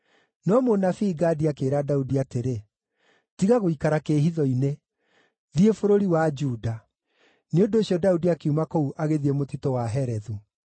No mũnabii Gadi akĩĩra Daudi atĩrĩ, “Tiga gũikara kĩĩhitho-inĩ. Thiĩ bũrũri wa Juda.” Nĩ ũndũ ũcio Daudi akiuma kũu agĩthiĩ mũtitũ wa Herethu.